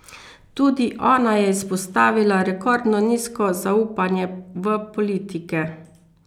Tudi ona je izpostavila rekordno nizko zaupanje v politike.